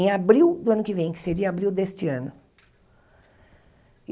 Em abril do ano que vem, que seria abril deste ano.